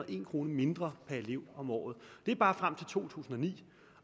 og en kroner mindre per elev om året det er bare frem til to tusind og ni